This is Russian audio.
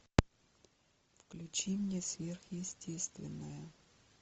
включи мне сверхъестественное